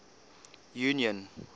union